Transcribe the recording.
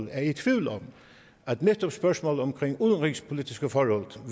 er i tvivl om at netop spørgsmålet omkring udenrigspolitiske forhold